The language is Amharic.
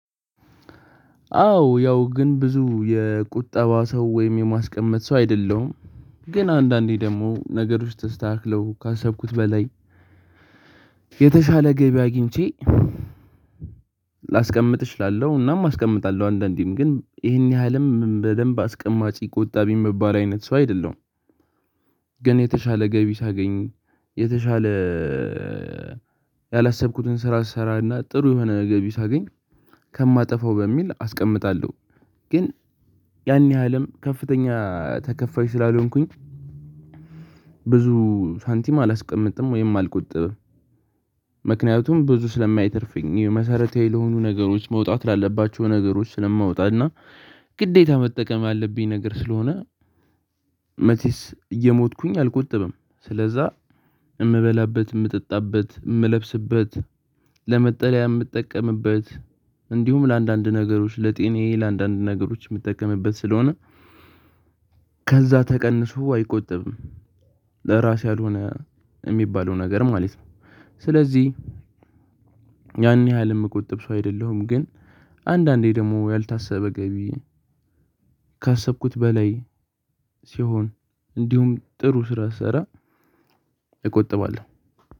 አዎ ያው ግን ብዙ የቁጠባ ሰው ወይም የማስቀመጥ ሰው አይደለሁም። ግን አንዳንዴ ደግሞ ነገሮች ተስተካክለው ካሰብኩት በላይ የተሻለ ገቢ አግኝቼ ላስቀምጥ እችላለሁ። እናም አስቀምጣለሁ አንዳንዴም ግን ይህን ያህልም በደንብ አስቀማጪ ቁጣቢ ምባል አይነት ሰው አይደለም። ግን የተሻለ ገቢ ሳገኝ የተሻለ ያላሰብኩትን ስራ ስሰራና ጥሩ የሆነ ነገር ሳገኝ ከማጠፋው በሚል አስቀምጣለሁ። ግን ያን ያህልም ከፍተኛ ተከፋይ ስላልሆንኩኝ ብዙ ሳንቲም አላስቀምጥም ወይም አልቆጥብም። ምክንያቱም ብዙ ስለማይተርፍኝ መሰረታዊ ለሆኑ ነገሮች መውጣት ላለባቸው ነገሮች ስለማውጣት እና ግዴታ መጠቀም ያለብኝ ነገር ስለሆነ። መቼስ እየሞተኩኝ አልቆጠብም ስለዛ እምበላበት እምጠጣበት እምለብስበት ለመጠለያ የምጠቀምበት። እንዲሁም ለአንዳንድ ነገሮች ለጤናዬ ለአንዳንድ ነገሮች የምጠቀምበት ስለሆነ። ከዛ ተቀንሶ አይቆጠብም ለራሴ ያልሆነ የሚባለው ነገር ማለት ነው። ስለዚህ ያን ያህል የምቆጥብ ሰው አይደለሁም። ግን አንዳንዴ ደግሞ ያልታሰበ ገቢ ካሰብኩት በላይ ሲሆን እንዲሁም ጥሩ ስራ ስሰራ እቆጥባለሁ።